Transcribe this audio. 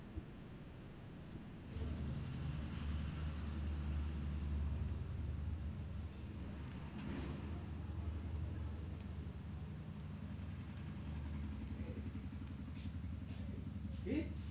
কি?